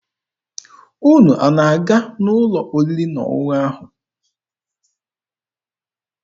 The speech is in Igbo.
Unu na-aga n'ụlọ oriri na ọṅụṅụ ahụ?